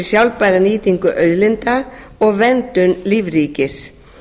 sjálfbæra nýtingu auðlinda og verndun lífríkis